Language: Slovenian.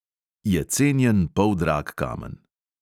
Je cenjen poldrag kamen.